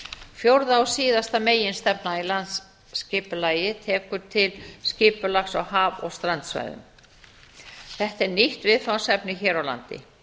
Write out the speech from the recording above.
fjórða og síðasta meginstefna í landsskipulagi tekur til skipulags á haf og strandsvæðum þetta er nýtt viðfangsefni hér á landi